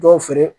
Dɔw feere